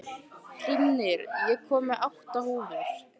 Hrímnir, ég kom með átta húfur!